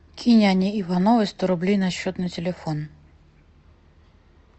кинь ане ивановой сто рублей на счет на телефон